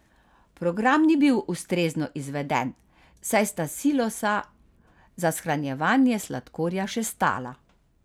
Program ni bil ustrezno izveden, saj sta silosa za shranjevanje sladkorja še stala.